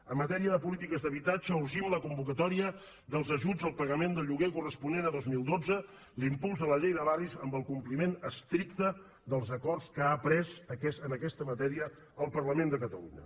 en matèria de polítiques d’habitatge urgim la convoca tòria dels ajuts al pagament del lloguer corresponent a dos mil dotze l’impuls a la llei de barris amb el compliment estricte dels acords que ha pres en aquesta ma tèria el parlament de catalunya